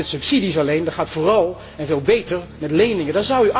Dat gaat niet met subsidies alleen, dat gaat vooral en veel beter met leningen.